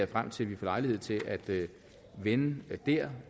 frem til at vi får lejlighed til at vende der